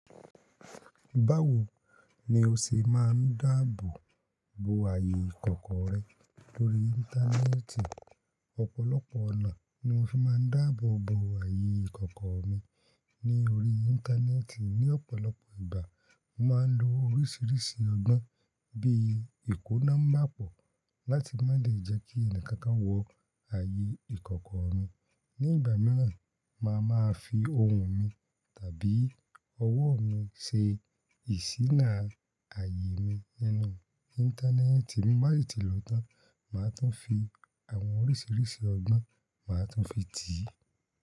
Báwo ni o ṣe máa ń dáàbò bo ààyè ìkọ̀kọ̀ rẹ lórí Íńtánẹ́ẹ̀tì? Ọ̀pọ̀lọpọ̀ ọ̀nà ni mo fi máa ń dáàbò bo ààyè ìkọ̀kọ̀ mi ní orí Íńtánẹ́ẹ̀tì. Ni ọ̀pọ̀lọpọ̀ ìgbà, mo máa ń lo oríṣìíríṣìí ọgbọ́n bíi ìkóná mapo láti má lè jẹ́ kí ẹni kankan wọ ààyè ìkọ̀kọ̀ mi. Ni ìgbà mìíràn, màá máa fi ohùn mi tàbí ọwọ́ mi ṣe ìsíná ààyè mi nínú Íńtánẹ́ẹ̀tì. Bí mo bá si ti lòótan, màá tún fi àwọn oríṣìíríṣìí ọgbọ́n, màá tún fi tì í.